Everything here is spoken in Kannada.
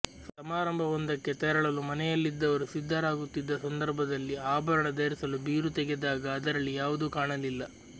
ಸಮಾರಂಭವೊಂದಕ್ಕೆ ತೆರಳಲು ಮನೆಯಲ್ಲಿದ್ದವರು ಸಿದ್ಧರಾಗುತ್ತಿದ್ದ ಸಂದರ್ಭದಲ್ಲಿ ಆಭರಣ ಧರಿಸಲು ಬೀರು ತೆಗೆದಾಗ ಅದರಲ್ಲಿ ಯಾವುದೂ ಕಾಣಲಿಲ್ಲ